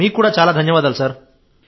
మీకు కూడా చాలా ధన్యవాదాలు సార్